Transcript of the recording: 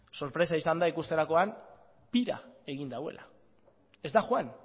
sorpresa izan da ikusterakoan pira egin duela ez da joan